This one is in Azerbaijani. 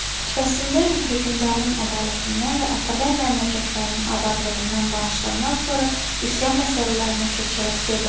Xutbəsində hökmdarın ədalətindən və Azərbay memləkətlərinin abadlığından danışandan sonra üsyan məsələlərinə keçərək dedi: